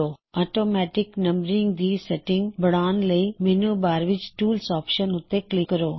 automatic numbering ਦੀ settings ਬਦਲਣ ਲਈ ਮੈੱਨੂ ਬਾਰ ਵਿੱਚ ਟੂਲਸ ਆਪਸ਼ਨ ਉੱਤੇ ਕਲਿੱਕ ਕਰੋ